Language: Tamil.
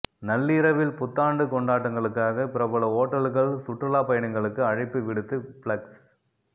நள்ளிரவில் புத்தாண்டு கொண்டாட்டங்களுக்காக பிரபல ஓட்டல்கள் சுற்றுலாபயணிகளுக்கு அழைப்பு விடுத்து பிளக்ஸ்